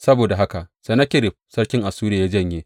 Saboda haka Sennakerib sarkin Assuriya ya janye.